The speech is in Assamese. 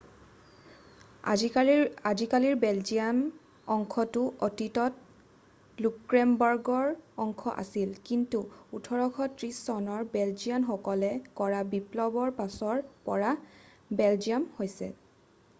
আজিকালিৰ বেলজিয়াম অংশটো অতীতত লুক্সেমবাৰ্গৰ অংশ আছিল কিন্তু 1830 চনৰ বেলজিয়ান সকলে কৰা বিপ্লৱৰ পাছৰ পৰা বেলজিয়ান হৈছি্ল